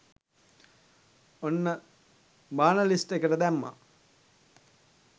ඔන්න බාන ලිස්ට් එකට දැම්මා